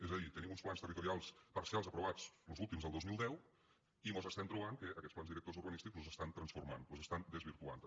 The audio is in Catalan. és a dir tenim uns plans territorials parcials aprovats los últims el dos mil deu i mos estem trobant que aquests plans directors urbanístics los estan transformant los estan desvirtuant també